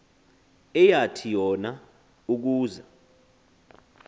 eyathi yona ukuza